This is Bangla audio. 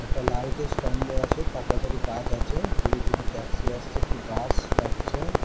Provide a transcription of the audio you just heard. একটা লাইট -এর স্তম্ভ আছে। তার পাশে একটি গাছ আছে। দূরে দুটো ট্যাক্সি আসছে একটি বাস যাচ্ছে।